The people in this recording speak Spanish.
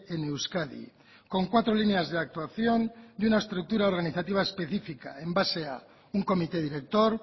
en euskadi con cuatro líneas de actuación y una estructura organizativa específica en base a un comité director